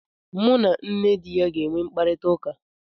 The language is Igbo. M na nne di ya ga enwe mkparịta ụka